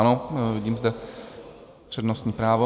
Ano, vidím zde přednostní právo.